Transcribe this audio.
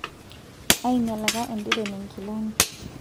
ainyialaka enderoni inkilani